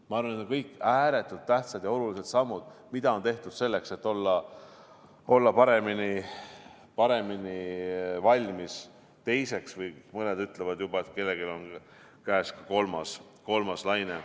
Ma arvan, et need on kõik ääretult tähtsad ja olulised sammud, mida on tehtud selleks, et olla paremini valmis teiseks, või mõned ütlevad juba, et kellelgi on käes ka kolmas laine.